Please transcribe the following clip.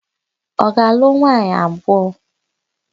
Ọ ga-alụ nwaanyị abụọ?